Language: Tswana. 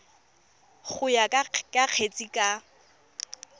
go ya ka kgetse ka